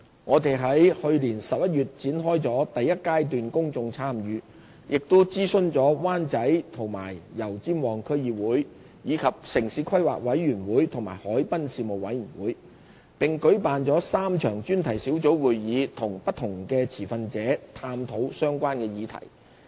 我們於去年11月展開了第一階段公眾參與，亦已諮詢灣仔和油尖旺區議會，以及城市規劃委員會和海濱事務委員會，並舉辦了3場專題小組會議與不同持份者探討相關議題。